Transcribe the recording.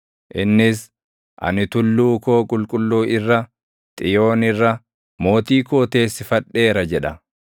innis, “Ani tulluu koo qulqulluu irra, Xiyoon irra, mootii koo teessifadheera” jedha.